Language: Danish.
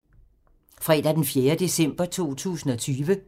Fredag d. 4. december 2020